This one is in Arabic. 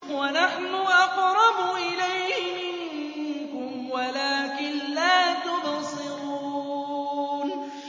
وَنَحْنُ أَقْرَبُ إِلَيْهِ مِنكُمْ وَلَٰكِن لَّا تُبْصِرُونَ